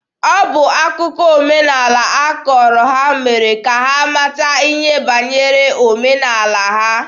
Ọ bụ akụkọ ọdịnaala a kọọrọ ha mere ka ha mata ihe banyere omenaala ha.